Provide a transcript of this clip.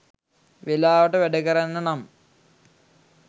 වෙලාවට වැඩකරන්න නං